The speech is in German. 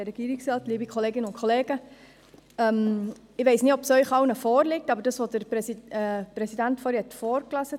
Ich weiss nicht, ob der Antrag Ihnen allen vorliegt, aber der Präsident hat ihn vorgelesen: